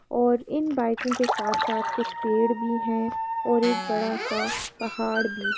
और इन बाइकों के साथ-साथ कुछ पेड़ भी हैं और एक बड़ा सा पहाड़ भी।